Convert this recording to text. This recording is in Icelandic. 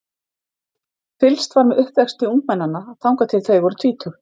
Fylgst var með uppvexti ungmennanna þangað til þau voru tvítug.